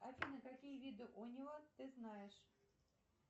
афина какие виды унет ты знаешь